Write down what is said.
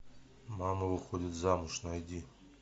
мама выходит замуж найди